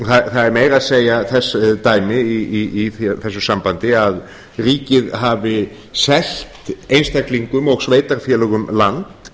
það eru meira að segja þess dæmi í þessu sambandi að ríkið hafi selt einstaklingum og sveitarfélögum land